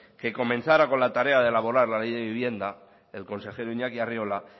que comenzara con la tarea de laborar la ley de vivienda el consejero iñaki arriola